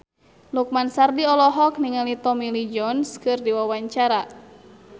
Lukman Sardi olohok ningali Tommy Lee Jones keur diwawancara